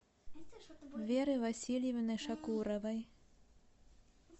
веры васильевны шакуровой